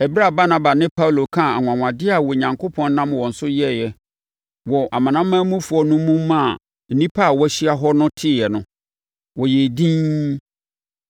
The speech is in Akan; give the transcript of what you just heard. Ɛberɛ a Barnaba ne Paulo kaa anwanwadeɛ a Onyankopɔn nam wɔn so yɛɛ wɔ amanamanmufoɔ no mu maa nnipa a wɔahyia hɔ no teeɛ no, wɔyɛɛ dinn.